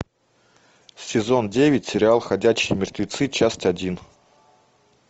сезон девять сериал ходячие мертвецы часть один